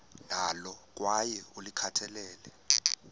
nalo kwaye ulikhathalele